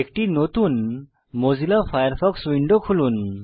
একটি নতুন Mozilla Firefox window খুলুন